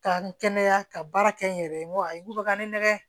Ka n kɛnɛya ka baara kɛ n yɛrɛ ye n ko ayi n ko bɛ ka n nɛgɛ